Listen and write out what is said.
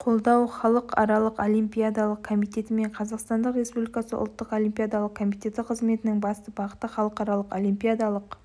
қолдау халықаралық олимпиадалық комитеті мен қазақстан республикасы ұлттық олимпиадалық комитеті қызметінің басты бағыты халықаралық олимпиадалық